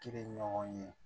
Kiri ɲɔgɔn ye